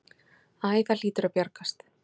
Æ, það hlýtur að bjargast.